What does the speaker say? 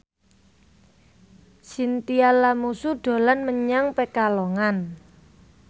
Chintya Lamusu dolan menyang Pekalongan